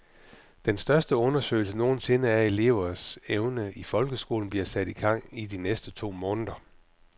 Den største undersøgelse nogen sinde af elevers evner i folkeskolen bliver sat i gang i de næste to måneder.